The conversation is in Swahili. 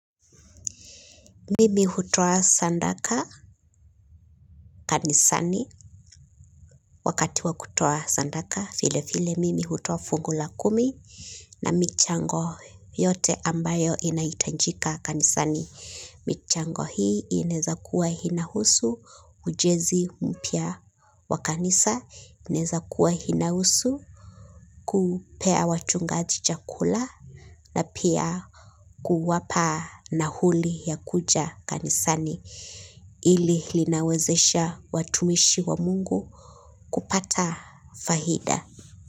Mimi hutoa sandaka kanisani wakati wakutoa sandaka file file mimi hutoa fungu la kumi na michango yote ambayo inaitanjika kanisani. Michango hii ineza kuwa hinahusu ujezi mpia wa kanisa ineza kuwa hinahusu kupea wachungaji chakula na pia kuwapa nahuli ya kuja kanisani. Ili linawezesha watumishi wa mungu kupata faida.